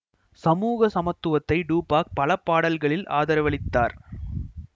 சமூக சமத்துவத்தை டூபாக் பல பாடல்களில் ஆதரவளித்தார்